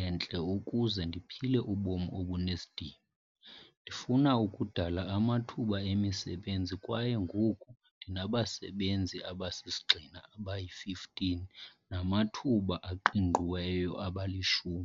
entle ukuze ndiphile ubomi obunesidima. Ndifuna ukudala amathuba emisebenzi kwaye ngoku ndinabasebenzi abasisigxina abayi-15 nabamathuba aqingqiweyo abali-10.